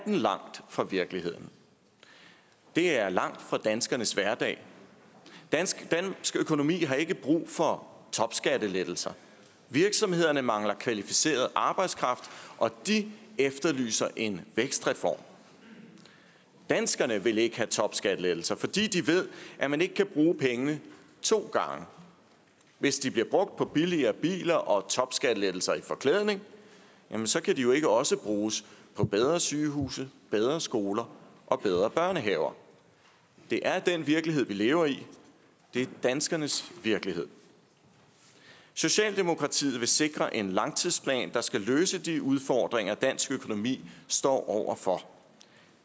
langt fra virkeligheden og det er langt fra danskernes hverdag dansk økonomi har ikke brug for topskattelettelser virksomhederne mangler kvalificeret arbejdskraft og de efterlyser en vækstreform danskerne vil ikke have topskattelettelser fordi de ved at man ikke kan bruge pengene to gange hvis de bliver brugt på billigere biler og topskattelettelser i forklædning kan de jo ikke også bruges på bedre sygehuse bedre skoler og bedre børnehaver det er den virkelighed vi lever i det er danskernes virkelighed socialdemokratiet vil sikre en langtidsplan der skal løse de udfordringer som dansk økonomi står over for